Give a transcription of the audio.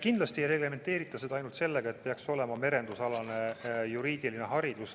Kindlasti ei reglementeerita seda ainult sellega, et peaks olema merendusalane juriidiline haridus.